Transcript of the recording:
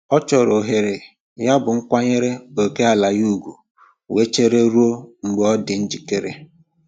Ọ chọrọ ohere, yabụ m kwanyere ókèala ya ugwu wee chere ruo mgbe ọ dị njikere.